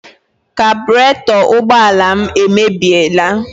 Kabụreto ụgbọala m emebiela.